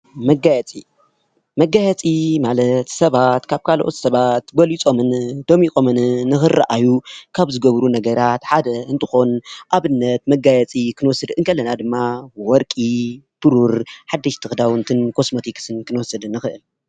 መጋየፂ፡- መጋየፂ ማለት ሰባት ካብ ካልኦት ሰባት በሊፆምን ደሚቆምን ንክረአዩ ካብ ዝገብሩ ነገራት ሓደ እንትኮን ኣብነት መጋየፂ ክንወስድ ከለና ድማ ወርቂ፣ ብሩር፣ ሓደሽቲ ክዳውንትን፣ ኮስሞቲክስን ክንወስድን ንክእል፡፡